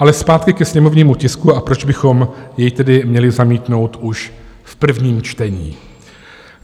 Ale zpátky ke sněmovnímu tisku, a proč bychom jej tedy měli zamítnout už v prvním čtení.